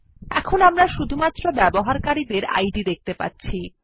এখন আমরা শুধুমাত্র ব্যবহারকারী ডের ইদ দেখতে পাচ্ছি